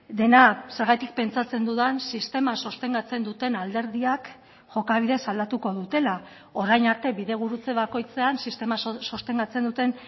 dena zergatik pentsatzen dudan sistema sostengatzen duten alderdiak jokabidez aldatuko dutela orain arte bidegurutze bakoitzean sistema sostengatzen duten